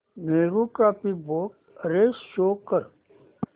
Nehru trophy boat race show कर